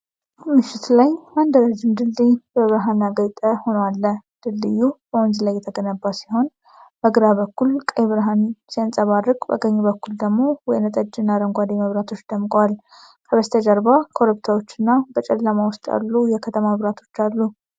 ምሽት ላይ አንድ ረዥም ድልድይ በብርሃን ያጌጠ ሆኖ አለ። ድልድዩ በወንዝ ላይ የተገነባ ሲሆን፣ በግራ በኩል ቀይ ብርሃን ሲያንጸባርቅ በቀኝ በኩል ደግሞ ወይንጠጅ እና አረንጓዴ መብራቶች ደምቀዋል። ከበስተጀርባ ኮረብታዎችና በጨለማ ውስጥ ያሉ የከተማ መብራቶች አሉ።